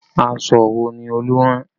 Aṣọ wo ni Olú rán?